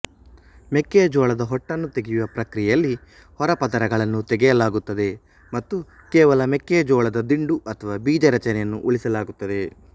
ಮೆಕ್ಕೆಜೋಳದ ಹೊಟ್ಟನ್ನು ತೆಗೆಯುವ ಪ್ರಕ್ರಿಯೆಯಲ್ಲಿ ಹೊರ ಪದರಗಳನ್ನು ತೆಗೆಯಲಾಗುತ್ತದೆ ಮತ್ತು ಕೇವಲ ಮೆಕ್ಕೆ ಜೋಳದ ದಿಂಡು ಅಥವಾ ಬೀಜರಚನೆಯನ್ನು ಉಳಿಸಲಾಗುತ್ತದೆ